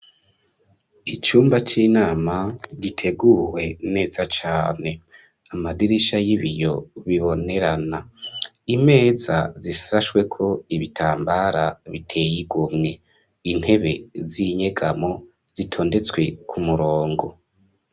Icyumba cy'inama giteguwe neza cyane amadirisha y'ibiyo bibonerana imeza zisashweko ibitambara biteyigomwe intebe z'inyegamo zitondetswe ku murongo.